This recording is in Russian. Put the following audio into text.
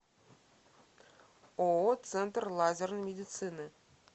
ооо центр лазерной медицины